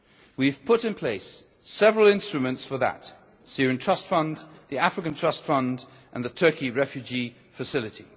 We have put in place several instruments for that the Syrian Trust Fund, the African Trust Fund and the Turkey Refugee Facility.